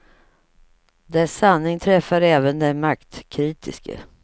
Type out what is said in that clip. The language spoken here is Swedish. Dess sanning träffar även den maktkritiske.